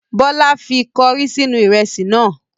Bọla fi kọrí sínú ìrẹsì náà.